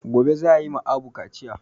Gobe za ayi ma Abu kaciya